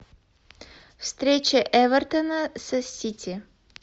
встреча эвертона с сити